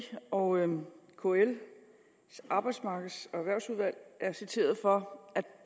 og kl´s arbejdsmarkeds og erhvervsudvalg er citeret for at